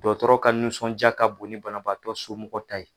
Dɔtɔrɔ ka nusɔnjaa ka bon ni banabaatɔ somɔgɔ ta ye.